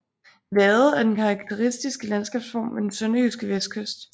Vade er den karakteristiske landskabsform ved den sønderjyske vestkyst